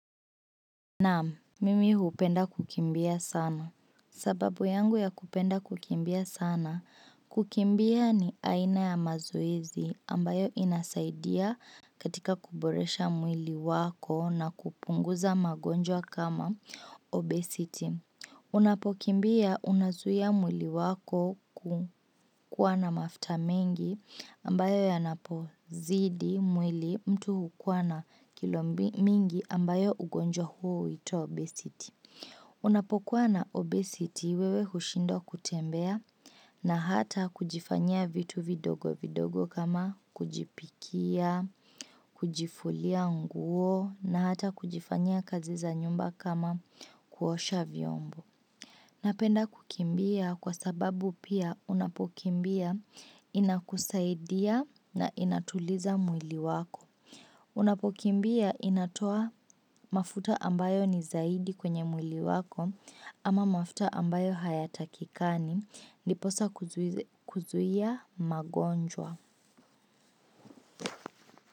Naam, mimi hupenda kukimbia sana. Sababu yangu ya kupenda kukimbia sana, kukimbia ni aina ya mazoezi ambayo inasaidia katika kuboresha mwili wako na kupunguza magonjwa kama obesity. Unapokimbia unasuhia mwili wako kukuwa na mafuta mingi ambayo yanapozidi mwili mtu hukuwa na kilo mingi ambayo ugonjwa huo uitwa obesity. Unapokwana obesity wewe hushindo kutembea na hata kujifanya vitu vidogo vidogo kama kujipikia, kujifulia nguo na hata kujifanya kazi za nyumba kama kuosha vyombo. Napenda kukimbia kwa sababu pia unapokimbia inakusaidia na inatuliza mwili wako. Unapukimbia inatoa mafuta ambayo ni zaidi kwenye mwili wako ama mafuta ambayo hayatakikani ndiposa kuzuia magonjwa.